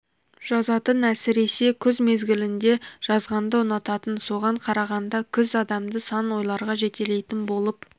жазатын әсіресе күз мезгілінде жазғанды ұнататын соған қарағанда күз адамды сан ойларға жетелейтін болып